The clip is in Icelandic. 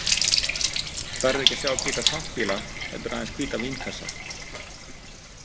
Þar er ekki að sjá hvíta tankbíla, heldur aðeins hvíta vínkassa.